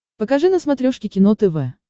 покажи на смотрешке кино тв